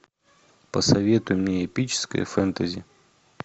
посоветуй мне эпическое фэнтези